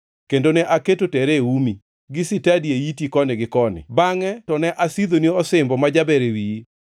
kendo ne aketo tere e umi, gi sitadi e iti koni gi koni, bangʼe to ne asidhoni osimbo ma jaber e wiyi.